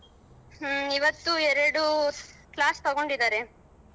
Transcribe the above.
ಹ್ಮ ಇವತ್ತು ಎರಡು class ತಗೊಂಡಿದರೆ.